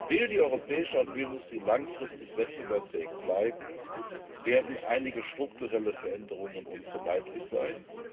Will die europäische Automobilindustrie langfristig wettbewerbsfähig bleiben, werden einige strukturelle Veränderungen unvermeidlich sein.